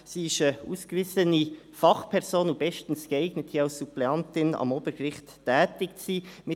Sie ist eine ausgewiesene Fachperson und bestens geeignet, als Suppleantin am Obergericht tätig zu sein.